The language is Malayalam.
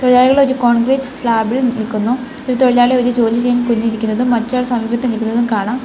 തൊഴിലാളികൾ ഒരു കോൺക്രീറ്റ് സ്ലാബിൽ നിൽക്കുന്നു ഒരു തൊഴിലാളി ഒരു ജോലി ചെയ്യാൻ കുനിഞ്ഞിരിക്കുന്നതും മറ്റൊരാൾ സമീപത്ത് നിൽക്കുന്നതും കാണാം.